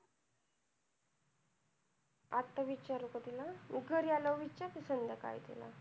आता विचारू का तिला? घरी आल्यावर विचारते संध्याकाळी तिला.